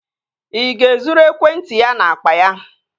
Ị ga-ezuru ekwentị ya n'akpa ya?